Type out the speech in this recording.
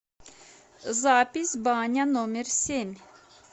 запись баня номер семь